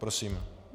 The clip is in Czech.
Prosím.